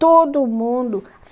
Todo mundo!